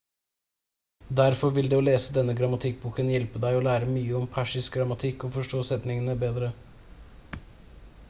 derfor vil det å lese denne grammatikkboken hjelpe deg å lære mye om persisk grammatikk og forstå setningene bedre